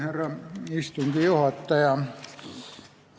Härra istungi juhataja!